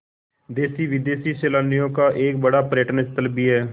देशी विदेशी सैलानियों का एक बड़ा पर्यटन स्थल भी है